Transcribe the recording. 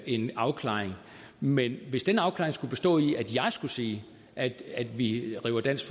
en afklaring men hvis den afklaring skulle bestå i at jeg skulle sige at vi river dansk